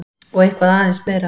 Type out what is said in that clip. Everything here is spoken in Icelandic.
Og eitthvað aðeins meira!